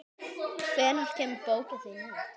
Hvenær kemur bókin þín út?